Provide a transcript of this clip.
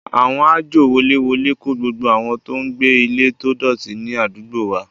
Àwọn àjọ woléwolé kó gbogbo àwọn tó ń gbé ilé tó dọ̀tí ní àdúgbò wa